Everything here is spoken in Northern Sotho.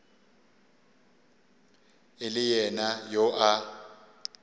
e le yena yo a